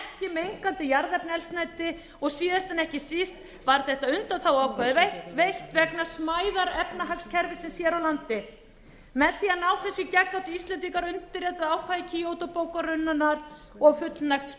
mengandi jarðefnaeldsneyti og síðast en ekki síst var þessi undanþága veitt vegna smæðar efnahagskerfisins hér á landi með því að ná þessu í gegn áttu íslendingar að undirrita ákvæði kýótó bókunarinnar og fullnægja